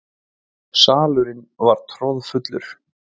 Salurinn var troðfullur.